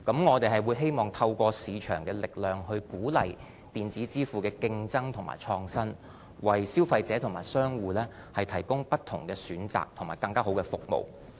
我們希望透過市場的力量，鼓勵電子支付的競爭和創新，為消費者和商戶提供不同的選擇和更優質的服務。